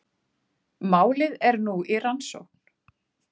Málið er nú í rannsókn